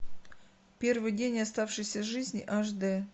первый день оставшейся жизни аш дэ